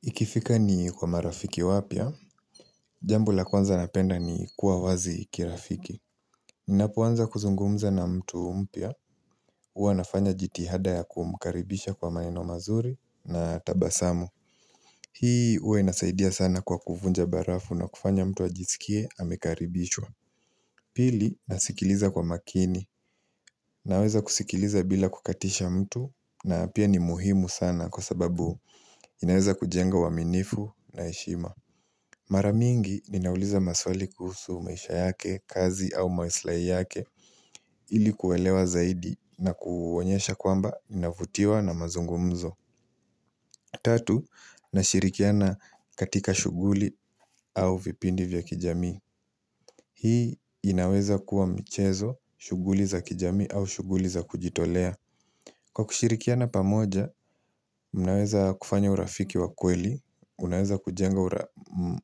Ikifika ni kwa marafiki wapya, jambo la kwanza napenda ni kuwa wazi kirafiki. Ninapoanza kuzungumza na mtu mpya, huwa nafanya jitihada ya kumkaribisha kwa maneno mazuri na tabasamu. Hii huwa inasaidia sana kwa kuvunja barafu na kufanya mtu ajisikie amekaribishwa. Pili, nasikiliza kwa makini. Naweza kusikiliza bila kukatisha mtu na pia ni muhimu sana kwa sababu inaweza kujenga uwaminifu na heshima. Maranyingi ninauliza maswali kuhusu maisha yake, kazi au maslai yake Ili kuelewa zaidi na kuwaonyesha kwamba inavutiwa na mazungumzo Tatu, nashirikiana katika shuguli au vipindi vya kijami Hii inaweza kuwa michezo, shuguli za kijami au shuguli za kujitolea Kwa kushirikiana pamoja, mnaweza kufanya urafiki wa kweli Unaweza kujenga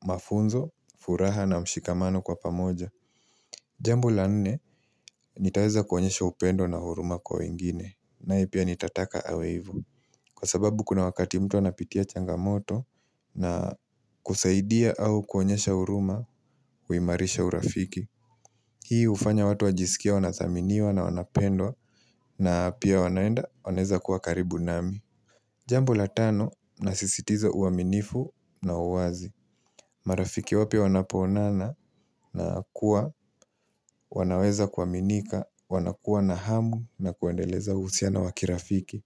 mafunzo, furaha na mshikamano kwa pamoja Jambo la nne, nitaweza kuonyesha upendo na huruma kwa wengine nae pia nitataka awe ivo Kwa sababu kuna wakati mtu anapitia changamoto na kusaidia au kuonyesha huruma, uimarisha urafiki Hii hufanya watu wajisikie wanathaminiwa na wanapendwa na pia wanaenda, wanaweza kuwa karibu nami Jambo la tano, nasisitiza uaminifu na uwazi marafiki wapya wanapo onana na kuwa, wanaweza kuwa minika, wanakuwa na hamu na kuandeleza usiana wakirafiki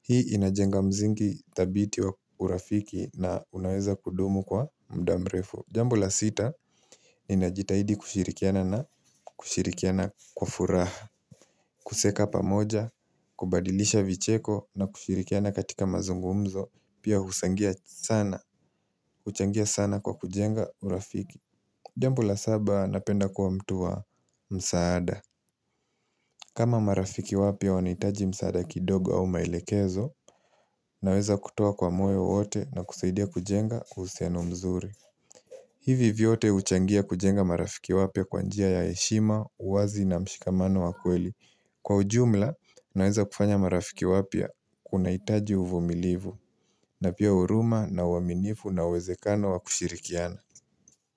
Hii inajenga msingi thabiti wa urafiki na unaweza kudumu kwa mda mrefu Jambo la sita, inajitahidi kushirikiana na kushirikiana kwa furaha kucheka pamoja, kubadilisha vicheko na kushirikiana katika mazungumzo Pia huchangia sana, kuchangia sana kwa kujenga urafiki Jambo la saba napenda kuwa mtu wa msaada kama marafiki wapya wahitaji msaada kidogo au mailekezo Naweza kutoa kwa moyo wote na kusaidia kujenga uhusiano mzuri hivi vyote uchangia kujenga marafiki wapya kwanjia ya heshima, uwazi na mshikamano wa kweli Kwa ujumla, naweza kufanya marafiki wapya kuna hitaji uvumilivu na pia huruma na uwaminifu na uwezekano wa kushirikiana.